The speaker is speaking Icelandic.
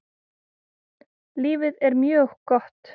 Lífið er mjög gott.